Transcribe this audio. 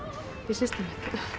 í systemið